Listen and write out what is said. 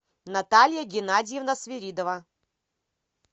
наталья геннадьевна свиридова